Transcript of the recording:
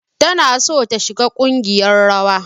Tana son ta shiga kungiyar rawa.